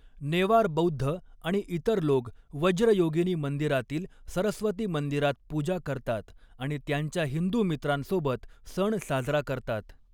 नेवार बौद्ध आणि इतर लोक वज्रयोगिनी मंदिरातील सरस्वती मंदिरात पूजा करतात आणि त्यांच्या हिंदू मित्रांसोबत सण साजरा करतात.